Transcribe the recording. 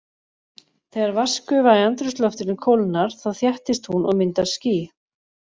Þegar vatnsgufa í andrúmsloftinu kólnar þá þéttist hún og myndar ský.